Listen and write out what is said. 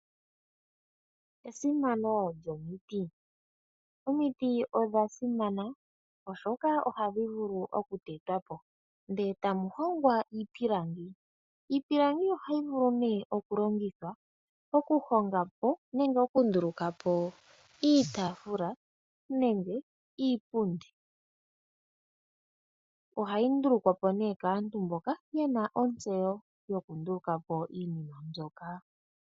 Omiti odha simana oshoka tetwapo nelalakano mukaze iihongomwa ngaashi iipilangi , iitaafula, iipundi. Ohayi ndulukwapo kaantu mba yana ontseyo.